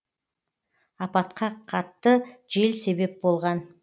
апатқа қатты жел себеп болған